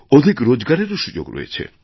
অধিক রোজগারেরও সুযোগরয়েছে